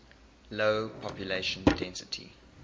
low population density